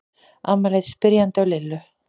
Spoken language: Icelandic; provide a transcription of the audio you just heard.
Amma leit spyrjandi á Lillu.